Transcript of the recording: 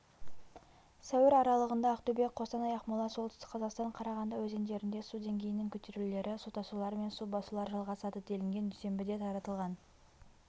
сәуір аралығында ақтөбе қостанай ақмола солтүстік қазақстан қарағанды өзендерінде су деңгейінің көтерілулері су тасулар мен су басулар жалғасады делінген дүйсенбіде таратылған